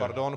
Pardon.